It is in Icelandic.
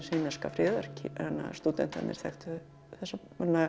himneska friðar stúdentarnir þekktu þessa